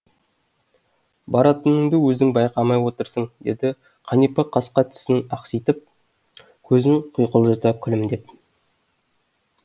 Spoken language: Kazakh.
баратыныңды өзің байқамай отырсың деді қанипа қасқа тісін ақситып көзін құйқылжыта күлімдеп